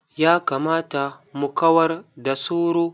Ya kamata mu kawar da soro.